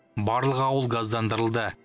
барлық ауыл газдандырылды